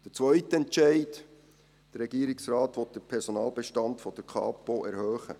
Der zweite Entscheid: Der Regierungsrat will den Personalbestand der Kapo erhöhen.